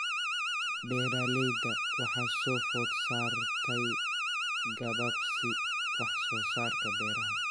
Beeralayda waxaa soo food saartay gabaabsi wax soo saarka beeraha.